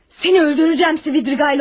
Səni öldürəcəyəm, Svidriqaylov.